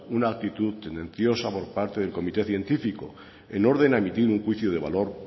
una actitud tendenciosa por parte del comité científico en orden a emitir un juicio de valor